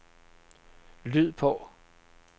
lyd på